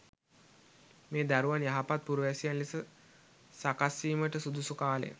මේ දරුවන් යහපත් පුරවැසියන් ලෙස සකස් වීමට සුදුසු කාලය.